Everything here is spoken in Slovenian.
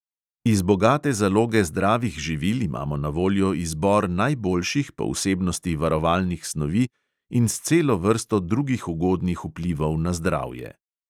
Iz bogate zaloge zdravih živil imamo na voljo izbor najboljših po vsebnosti varovalnih snovi in s celo vrsto drugih ugodnih vplivov na zdravje.